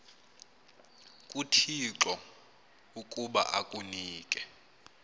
kuthixo ukuba akunike